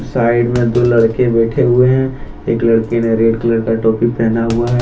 Side में दो लड़के बैठे हुए हैं एक लड़के ने रेड कलर का टोपी पहना हुआ है।